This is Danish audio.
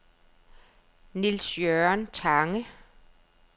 Niels-Jørgen Tange